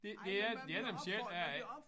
Det det er det er dem selv der er